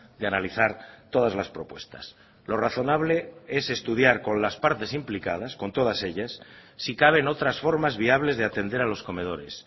de analizar todas las propuestas lo razonable es estudiar con las partes implicadas con todas ellas si caben otras formas viables de atender a los comedores